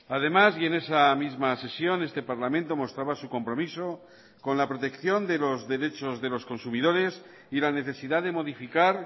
además y en esa misma sesión este parlamento mostraba su compromiso con la protección de los derechos de los consumidores y la necesidad de modificar